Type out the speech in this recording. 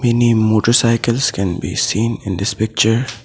Many motorcycles can be seen in this picture.